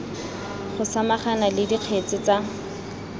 go samagana le dikgetse tsa